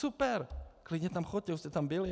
Super, klidně tam choďte, už jste tam byli.